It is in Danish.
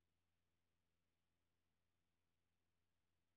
Galleriet var lukket, og der var ikke en sjæl i nærheden.